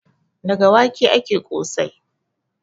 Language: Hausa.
Daga wake ake ƙosai.